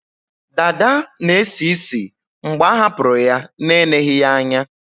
Dada na-esi ísì mgbe a hapụrụ ya na-eneghi ya anya